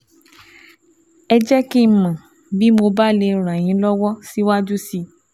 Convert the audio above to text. Ẹ jẹ́ kí n mọ̀ bí mo bá lè ràn yín lọ́wọ́ síwájú sí i